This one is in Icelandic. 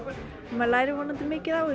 maður lærir vonandi mikið á